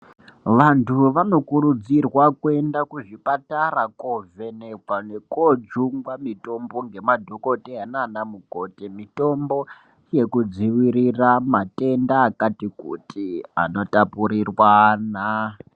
Vantu vanokurudzirwa kuenda kuzvipatara koovhenekwa nekoojungwa mitombo ngemadhokoteya nanamukhoti, mitombo yekudzivirira matenda akati kuti anotapurir'ana.